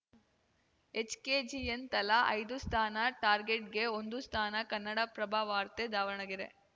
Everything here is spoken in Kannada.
ಎಚ್‌ಕೆಜಿಎನ್‌ ತಲಾ ಐದು ಸ್ಥಾನ ಟಾರ್ಗೆಟ್‌ಗೆ ಒಂದು ಸ್ಥಾನ ಕನ್ನಡಪ್ರಭವಾರ್ತೆದಾವಣಗೆರೆ